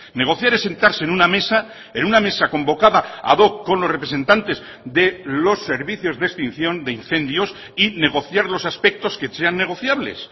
negociar es sentarse en una mesa en una mesa convocada ad hoc con los representantes de los servicios de extinción de incendios y negociar los aspectos que sean negociables